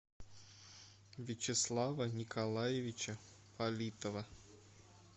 вячеслава николаевича политова